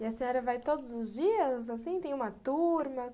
E a senhora vai todos os dias, assim, tem uma turma?